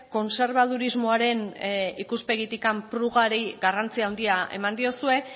kontserbadurismoaren ikuspegitik prugari garrantzi handia eman diozue